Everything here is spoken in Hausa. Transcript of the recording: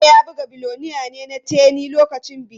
DJ ya buga 'Billionaire' na Teni lokacin bikin.